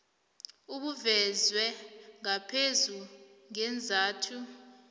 obuvezwe ngaphezulu ngeenzathu